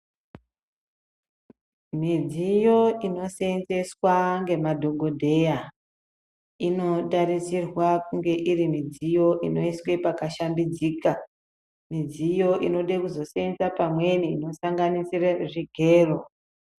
Midziyo inooseenzeswa ngemadhokodheya inotariswa kuti inge irimudziyo inoiswa pakashambidzika midziyo inode kuzoseenza pamweni inosanganisire zvigero.